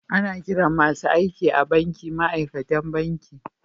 Ana kiran masun aiki a'banki ma'aikatan banki.